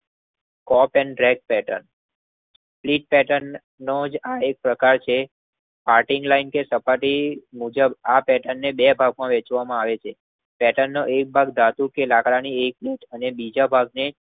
કોપ and ગ્રપ pattern સ્લીપ pattern નો જ આ એક પ્રકાર છે. કાર્ટિંગ લઈને જે સપાટી મુજબ આ પેટનને બે ભાગ માં વહેંચવામાં આવે છે. પેટનનો એક ભાગ ધૌ કે લાકડાની એક બાજુ અને બીજા ભાગની